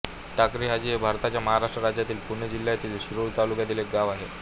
टाकळी हाजी हे भारताच्या महाराष्ट्र राज्यातील पुणे जिल्ह्यातील शिरूर तालुक्यातील एक गाव आहे